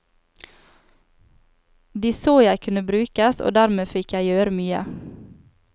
De så jeg kunne brukes, og dermed fikk jeg gjøre mye.